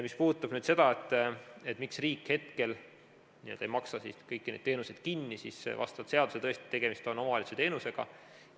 Mis puudutab seda, miks riik hetkel ei maksa kõiki neid teenuseid kinni, siis vastavalt seadusele tõesti on tegemist omavalitsuse teenusega.